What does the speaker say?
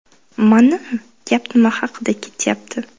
Mana, gap nima haqida ketyapti!